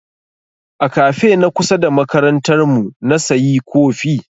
A kafe na kusa da makarantar mu na sayi kofi.